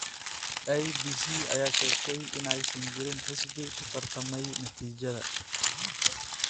IEBC ayaa sheegtay in aysan jirin xisbi ku tartamay natiijada.